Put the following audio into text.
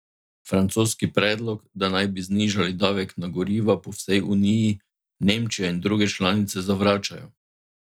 Francoski predlog, da naj bi znižali davek na goriva po vsej Uniji, Nemčija in druge članice zavračajo.